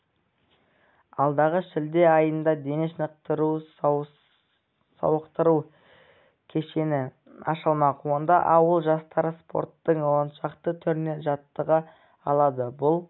алдағы шілде айында дене шынықтыру-сауықтыру кешені ашылмақ онда ауыл жастары спорттың оншақты түрінен жаттыға алады бұл